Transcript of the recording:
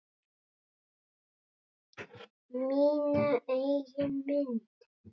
Mína eigin mynd.